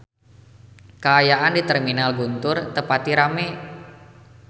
Kaayaan di Terminal Guntur teu pati rame